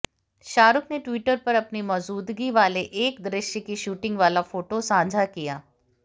शाहरुख ने ट्विटर पर अपनी मौजूदगी वाले एक दृश्य की शूटिंग वाला फोटो साझा किया